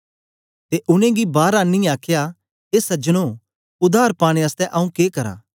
ते उनेंगी बार आनीयै आखया ए सज्जनो उद्धार पाने आसतै आंऊँ के करां